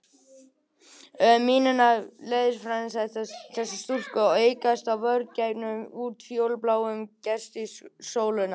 Melanín framleiðsla þessara stúlkna er aukast sem vörn gegn útfjólubláum geislum sólarinnar.